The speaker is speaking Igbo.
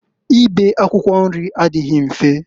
Ibe akwụkwọ nri adịghị mfe.